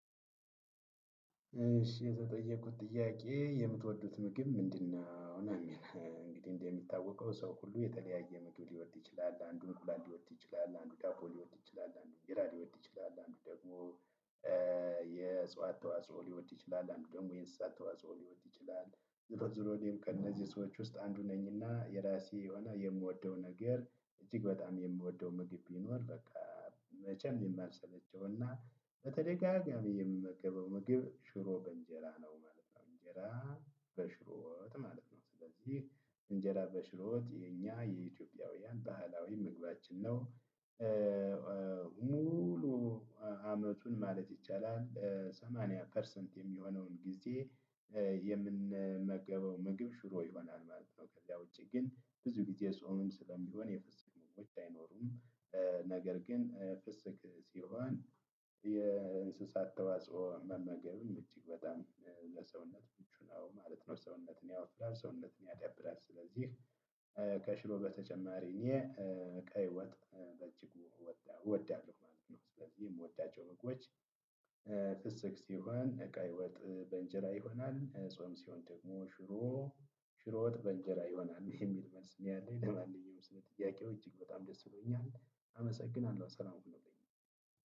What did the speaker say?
እሺ የተጠየቁት ጥያቄ የምትወዱት ምግብ ምንድነው? እና እንግዲህ እንደሚታወቀው ሰው ሁሉ የተለያየ ምግብ ሊወድ ይችላል አንዱ እንቁላል ሊወድ ይችላል አንዱ ዳቦ ሊወድ ይችላል አንዱ እንጀራ ሊወድ ይችላል አንዱ ደግሞ የእጽዋት ተዋጽኦ ሊወድ ይችላል አንዱ ደግሞ የንስሳት ተዋጽኦ ሊወድ ይችላል ዙሮዙሮ እኔም ከእነዚህ ሰዎች ውስጥ አንዱ ነኝና የራሴ የሆነ የምወደው ነገር እጅግ በጣም የምወደው ምግብ ቢኖር በቃ መቼም የማልሰለቸውና በተደጋጋሚ የምመገበው ምግብ ሽሮ በእንጀራ ነው ማለት ነው እንጀራ በሽሮወጥ ማለት ነው ስለዚህ እንጀራ በሽሮወጥ የኛ የኢትዮጵያውያን ባህላዊ መግባችን ነው። ሙሉ አመቱን ማለት ይቻላል ሰማንያ ፐርሰንት የሚሆነውን ጊዜ የምንመገበው ምግብ ሽሮ ይሆናል ማለት ነው። ከዛ ውጪ ግን ብዙ ጊዜ ጾምም ስለሚሆን የፍሰክ ምግቦች አይኖርም። ነገር ግን ፍስክ ሲሆን የእንስሳት ተዋጽኦ መመገብም እጅግ በጣም ለሰውነት ምቹ ነው ማለት ነው። ሰውነትን ያወፍራል ሰውነትን ያዳብራል ስለዚህ። ከሽሮ በተጨማሪ እኔ ቀይ ወጥ በእጅጉ ወዳለሁ ማለት ነው። ስለዚህ የምወዳቸው ምግቦች ፍስክ ሲሆን እቀይ ወጥ በእንጀራ ይሆናል ጾም ሲሆን ደግሞ ሽሮ ሽሮ ወጥ በእንጀራ ይሆናል የሚል መልስ ነው ያለኝ። ለማንኛውም ስለ ጥያቄው እጅግ በጣም ደስ ብሎኛል። አመሰግናለሁ ሰላም ሁኑልኝ።